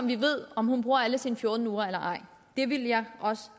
vi ved om hun bruger alle sine fjorten uger eller ej det ville jeg også